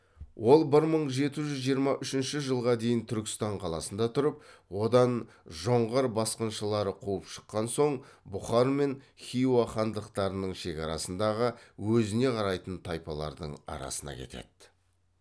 ол бір мың жеті жүз жиырма үшінші жылға дейін түркістан қаласында тұрып одан жоңғар басқыншылары қуып шыққан соң бұқар мен хиуа хандықтарының шекарасындағы өзіне қарайтын тайпалардың арасына кетеді